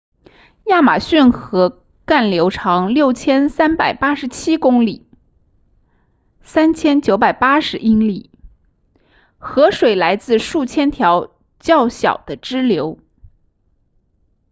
亚马孙河干流长6387公里3980英里河水来自数千条较小的支流